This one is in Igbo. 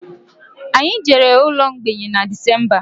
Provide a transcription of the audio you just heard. Anyị jere ụlọ mgbei na Decemba